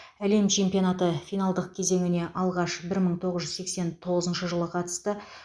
әлем чемпионаты финалдық кезеңіне алғаш бір мың тоғыз жүз сексен тоғызыншы жылы қатысты